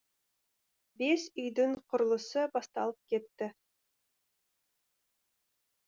бес үйдің құрылысы басталып кетті